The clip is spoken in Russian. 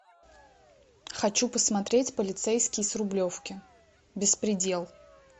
хочу посмотреть полицейский с рублевки беспредел